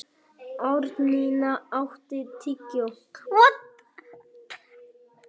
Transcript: Árnína, áttu tyggjó?